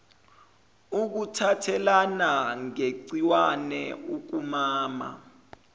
ukuthathelana ngegciwane kukamama